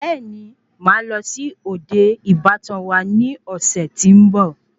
Bẹẹni, Máà lọ sí òde ìbátan wa ni ọ̀sẹ̀ tí nbọ